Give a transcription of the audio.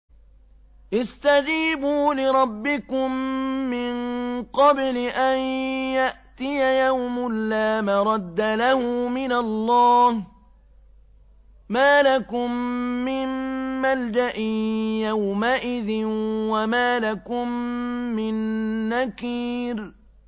اسْتَجِيبُوا لِرَبِّكُم مِّن قَبْلِ أَن يَأْتِيَ يَوْمٌ لَّا مَرَدَّ لَهُ مِنَ اللَّهِ ۚ مَا لَكُم مِّن مَّلْجَإٍ يَوْمَئِذٍ وَمَا لَكُم مِّن نَّكِيرٍ